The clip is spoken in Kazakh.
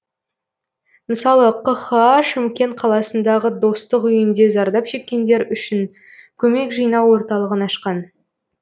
мысалы қха шымкент қаласындағы достық үйінде зардап шеккендер үшін көмек жинау орталығын ашқан